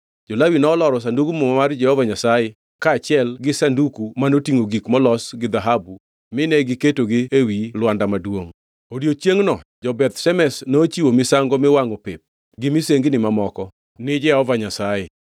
Jo-Lawi noloro Sandug Muma mar Jehova Nyasaye kaachiel gi Sanduku manotingʼo gik molos gi dhahabu, mine giketogi ewi lwanda maduongʼ. Odiechiengʼno jo-Beth Shemesh nochiwo misango miwangʼo pep gi misengini mamoko ni Jehova Nyasaye.